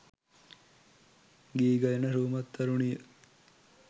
ගී ගයන රූමත් තරුණිය